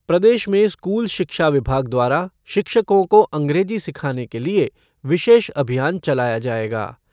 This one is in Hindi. प्रदेश में स्कूल शिक्षा विभाग द्वारा शिक्षकों को अंग्रेजी सिखाने के लिए विशेष अभियान चलाया जाएगा।